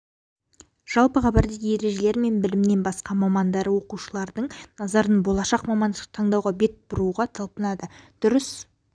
жалпыға бірдей ережелер мен білімнен басқа мамандары оқушылардың назарын болашақ мамандықты таңдауға бет бұруға талпынады дұрыс